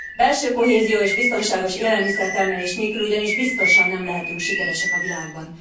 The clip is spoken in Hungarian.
Belső kohézió és biztonságos élelmiszertermelés nélkül ugyanis biztosan nem lehetünk sikeresek a világban.